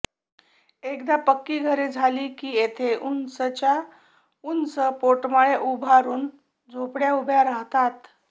एकदा पक्की घरे झाली की येथे उंचच्या उंच पोटमाळे उभारून झोपडय़ा उभ्या राहतात